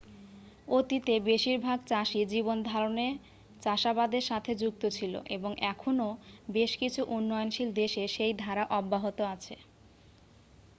অতীতে বেশিরভাগ চাষী জীবনধারণে চাষাবাদের সাথে যুক্ত ছিল এবং এখনও বেশ কিছু উন্নয়নশীল দেশে সেই ধারা অব্যাহত আছে